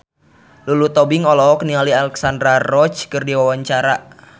Lulu Tobing olohok ningali Alexandra Roach keur diwawancara